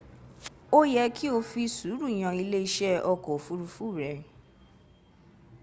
ó yẹ́ kí o fi sùúrù yan ilé iṣẹ́ ọkọ̀ òfurufú r